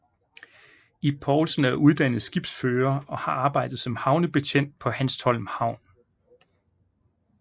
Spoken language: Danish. Ib Poulsen er uddannet skibsfører og har arbejdet som havnebetjent på Hanstholm Havn